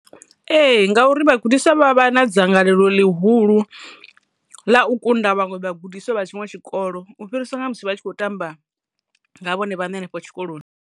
Ehe! Ngauri vhagudiswa vha vha na dzangalelo ḽihulu ḽa u kunda vhaṅwe vhagudiswa vha tshiṅwe tshikolo u fhiriswa na musi vha tshi khou tamba nga vhone vhaṋe henefho tshikoloni.